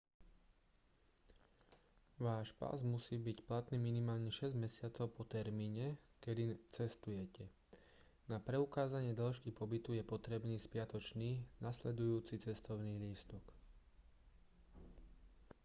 váš pas musí byť platný minimálne 6 mesiacov po termíne kedy cestujete. na preukázanie dĺžky pobytu je potrebný spiatočný/nasledujúci cestovný lístok